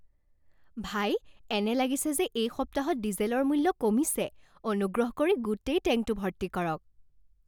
ভাই, এনে লাগিছে যে এই সপ্তাহত ডিজেলৰ মূল্য কমিছে। অনুগ্ৰহ কৰি গোটেই টেংকটো ভৰ্তি কৰক।